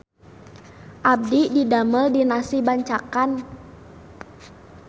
Abdi didamel di Nasi Bancakan